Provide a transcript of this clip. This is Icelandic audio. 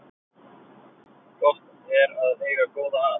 Gott er að eiga góða að